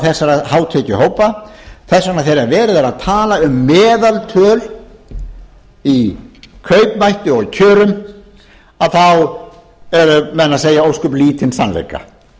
þessara hátekjuhópa þess vegna þegar verið er að tala um meðaltöl í kaupmætti og kjörum þá eru menn að segja ósköp lítinn sannleika það var